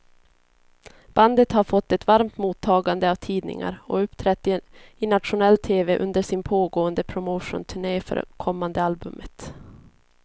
Bandet har fått ett varmt mottagande av tidningar och uppträtt i nationell tv under sin pågående promotionturné för kommande albumet.